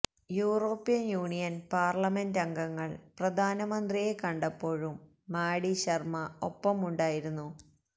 European union parliament അംഗങ്ങള് പ്രധാനമന്ത്രിയെ കണ്ടപ്പോഴും മാഡി ശര്മ്മ ഒപ്പമുണ്ടായിരുന്നു